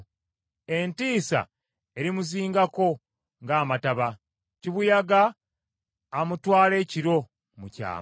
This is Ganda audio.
Entiisa erimuzingako ng’amataba; kibuyaga amutwala ekiro mu kyama.